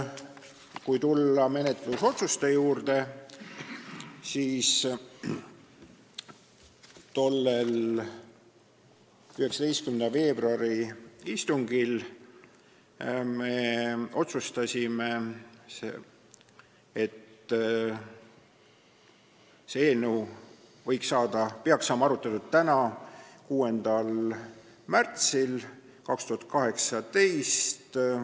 Kui tulla menetlusotsuste juurde, siis tollel 19. veebruari istungil me otsustasime, et see eelnõu peaks saama arutletud täna, 6. märtsil 2018.